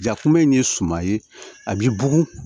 Ja kunbɛn in ye suman ye a b'i bugun